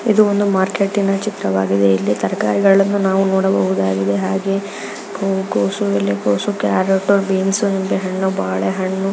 ಇದು ಒಂದು ಮಾರ್ಕೆಟ್ ಇನ ಚಿತ್ರವಾಗಿದೆ ಇಲ್ಲಿ ತರಕಾರಿಗಳನ್ನು ನಾವು ನೋಡಬಹುದಾಗಿದೆ. ಹಾಗೆ ಕೋ ಕೋಸು ಎಲೆ ಕೋಸು ಕ್ಯಾರಟ್ ಬೀನ್ಸ್ ನಿಂಬೆ ಹಣ್ಣು ಬಾಳೆ ಹಣ್ಣು.